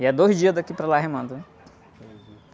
E é dois dias daqui para lá remando, né?